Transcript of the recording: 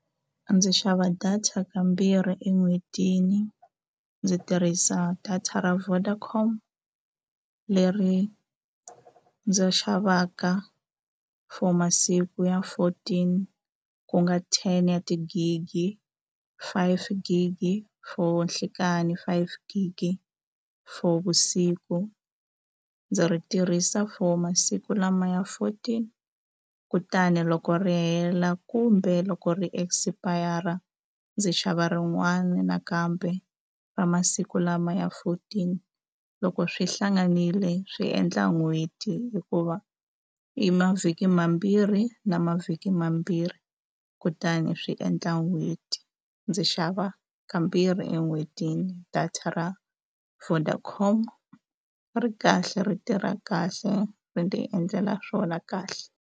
Ndzi xava data kambirhi en'hwetini ndzi tirhisa data ra Vodacom leri ndzi xavaka for masiku ya fourteen ku nga ten ya tigigi five gigi for nhlikani five gigi for vusiku ndzi ri tirhisa for masiku lama ya fourteen kutani loko ri hela kumbe loko ri expire ndzi xava rin'wana nakambe ra masiku lama ya fourteen loko swi hlanganile swi endla n'hweti hikuva i mavhiki mambirhi na mavhiki mambirhi kutani swi endla n'hweti ndzi xava kambirhi en'hwetini data ra Vodacom ri kahle ri tirha kahle ti endlela swona kahle.